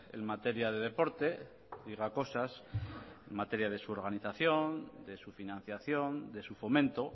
en materia de deporte diga cosas en materia de su organización de su financiación de su fomento